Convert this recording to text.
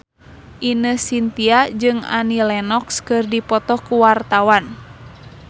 Ine Shintya jeung Annie Lenox keur dipoto ku wartawan